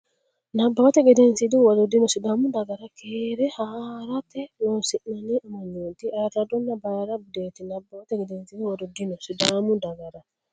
Nabbawate Gedensiidi Huwato dino Sidaamu dagara keere haa rate Loossinanni amanyooti ayirradonna bayra budeeti Nabbawate Gedensiidi Huwato dino Sidaamu dagara.